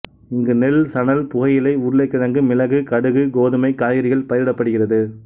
இங்கு நெல் சணல் புகையிலை உருளைக்கிழங்கு மிளகு கடுகு கோதுமை காய்கறிகள் பயிரிடப்படுகிறது